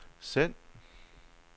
send